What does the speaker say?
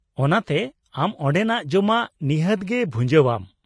ᱚᱱᱟᱛᱮ ᱟᱢ ᱚᱸᱰᱮᱱᱟᱜ ᱡᱚᱢᱟᱜ ᱱᱤᱷᱟᱹᱛ ᱜᱮ ᱵᱷᱩᱸᱡᱟᱹᱣ ᱟᱢ ᱾